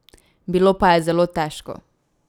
Bilo pa je zelo težko.